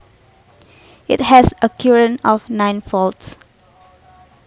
It has a current of nine volts